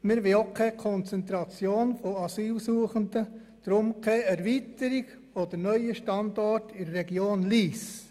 Wir wollen keine Konzentration von Asylsuchenden, deshalb keine Erweiterung und auch keinen neuen Standort in der Region Lyss.